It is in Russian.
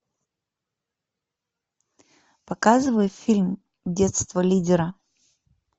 показывай фильм детство лидера